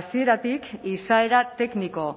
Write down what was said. hasieratik izaera tekniko